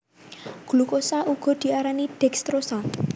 Glukosa uga diarani dekstrosa